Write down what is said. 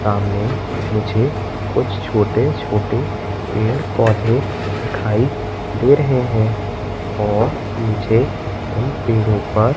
सामने मुझे कुछ छोटे छोटे पेड़ पौधे दिखाई दे रहे हैं और मुझे उन पेड़ों पर--